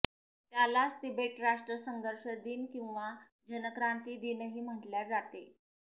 त्यालाच तिबेट राष्ट्र संघर्ष दिन किंवा जनक्रांती दिनही म्हटल्या जाते